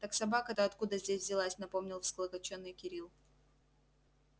так собака-то откуда здесь взялась напомнил всклокочённый кирилл